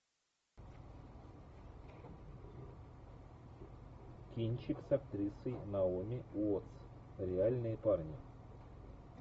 кинчик с актрисой наоми уоттс реальные парни